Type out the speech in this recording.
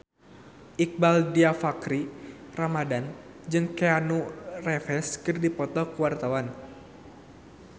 Iqbaal Dhiafakhri Ramadhan jeung Keanu Reeves keur dipoto ku wartawan